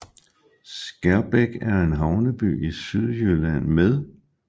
Skærbæk er en havneby i Sydjylland med